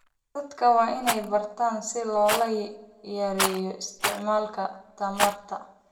Dadka waa in ay bartaan sida loo yareeyo isticmaalka tamarta.